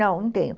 Não, não tenho.